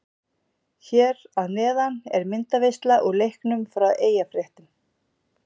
Hér að neðan er myndaveisla úr leiknum frá Eyjafréttum.